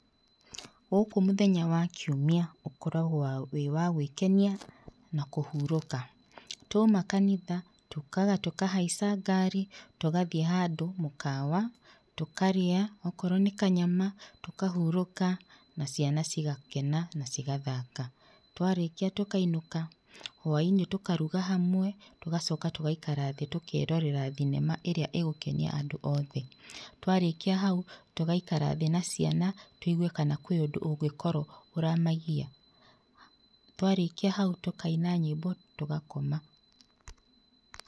Gũkũ mũthenya wa kiumia ũkoragwo wĩ wa gwĩkenia na kũhurũka. Twaima kanitha, tũkaga tũkahaica ngari, tũgathiĩ handũ mũkawa, tũkarĩa okorwo nĩ kanyama, tũkahurũka na ciana cigakena na cigathaka. Twarĩkia tũkainũka, hwainĩ tũkaruga hamwe, tũgacoka tũgaikara thĩ tũkerorera thinema ĩrĩa ĩgũkenia andũ othe. Twarĩkia hau, tũgaikara thĩ na ciana tũigwe kana kwĩ ũndũ ũngĩkorwo ũramagia. Twarĩkia hau, tũkaina nyĩmbo tũgakoma.